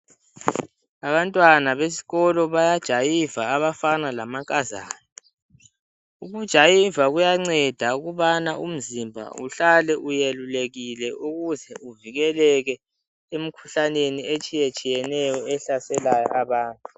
Abantwana besikolo bayajayiva abafana lamankazana. Ukujayiva kuyanceda ukubana umzimba uhlale uyelulekile ukuze uvikeleke emkhuhlaneni etshiyeneyo ehlaselayo abantu.